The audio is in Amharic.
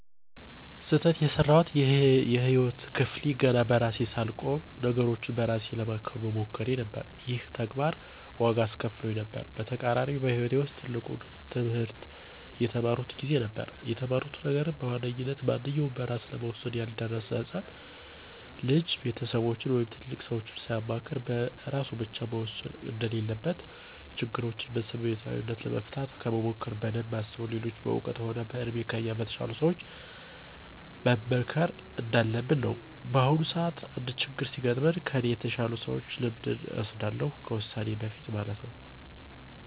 ስህተት የሰራሁበት የህይወት ክፍሌ ገና በራሴ ሳልቆም ነገሮችን በእራሴ ለማከናወን መሞከሬ ነበር። ይሄም ተግባር ዋጋ አስከፍሎኝ ነበር። በተቃራኒውም በህይወቴ ውስጥ ትልቁን ትህምርት የተማርኩት ጊዜ ነበር። የተማርኩት ነገርም በዋነኝነት ማንኛውም በእራሱ ለመወሠን ያልደረሰ ህፃን ልጅ ቤተሰቦቹን ወይም ትልልቅ ሰዎችን ሳያማክር በእራሱ ብቻ መወሰን እንደሌለበት፤ ችግሮችን በስሜታዊነት ለመፍታት ከመሞከር በደንብ አስቦ ሌሎች በእውቀት ሆነ በእድሜ ከእኛ በተሻሉ ሰዎች መመከር እንዳለብን ነው። በአሁኑም ሰዓት አንድ ችግር ሲገጥመኝ ከኔ ከተሻሉ ሰዎች ልምድን እወስዳለሁ ከዉሳኔ በፊት ማለት ነው።